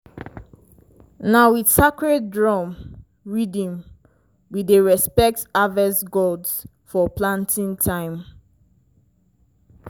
na with sacred drum rhythm we dey respect harvest gods for planting time.